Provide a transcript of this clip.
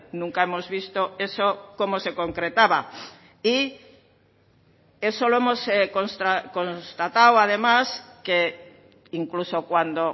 nunca hemos visto eso cómo se concretaba y eso lo hemos constatado además que incluso cuando